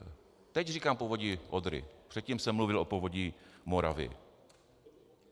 Teď říkám Povodí Odry, předtím jsem mluvil o Povodí Moravy.